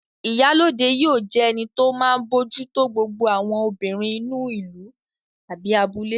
Ìyálóde yóò jẹ́ ẹni tó máa bójú tó gbogbo àwọn obìnrin inú ìlú/abúlé